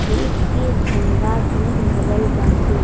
देश के झंडा भी लगल बाटे।